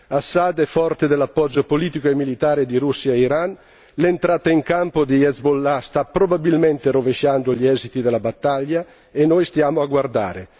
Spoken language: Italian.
Assad è forte dell'appoggio politico e militare di Russia e Iran, l'entrata in campo di Hezbollah sta probabilmente rovesciando gli esiti della battaglia e noi stiamo a guardare.